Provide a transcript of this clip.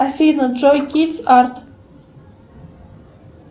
афина джой кидс арт